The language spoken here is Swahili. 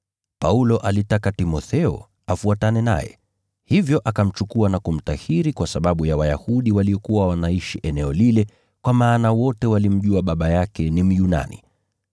Paulo alitaka Timotheo afuatane naye, hivyo akamchukua na kumtahiri kwa sababu ya Wayahudi waliokuwa wanaishi eneo lile kwa maana wote walimjua baba yake ni Myunani.